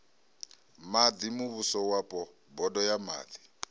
maḓi muvhusowapo bodo ya maḓi